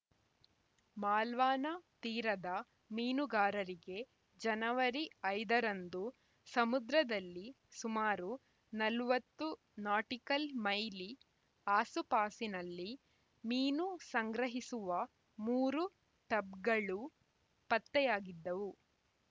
ಮಾಲ್ವಾನ ತೀರದ ಮೀನುಗಾರರಿಗೆ ಜನವರಿ ಐದು ರಂದು ಸಮುದ್ರದಲ್ಲಿ ಸುಮಾರು ನಲವತ್ತು ನಾಟಿಕಲ್‌ ಮೈಲಿ ಆಸುಪಾಸಿನಲ್ಲಿ ಮೀನು ಸಂಗ್ರಹಿಸುವ ಮೂರು ಟಬ್‌ಗಳು ಪತ್ತೆಯಾಗಿದ್ದವು